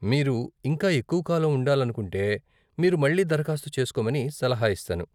మీరు ఇంకా ఎక్కువకాలం ఉండాలనుకుంటే మీరు మళ్ళీ దరఖాస్తు చేస్కోమని సలహా ఇస్తాను.